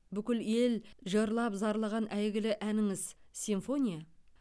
бүкіл ел жырлап зарлаған әйгілі әніңіз симфония